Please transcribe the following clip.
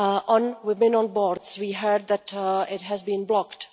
On women on boards, we heard that it has been blocked.